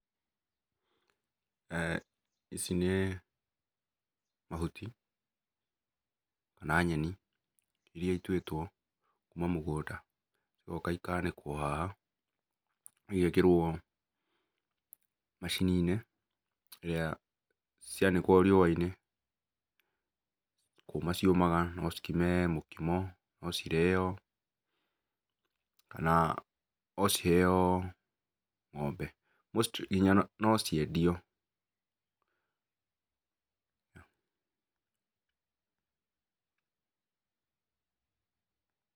eeh ici nĩ mahũti kana nyeni irĩa ituĩtwo kũma mũgũnda, igoka ikanĩkwo haha, igekĩrwo macini-inĩ iria cianĩkwo riũa-inĩ nĩ kũma cĩũmaga, no cĩkĩme mũkĩmo, no cĩrĩo kana no cĩheo ng'ombe mostly no ciendio.